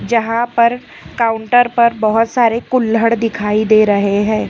यहां पर काउंटर पर बहुत सारे कुल्हड़ दिखाई दे रहे हैं।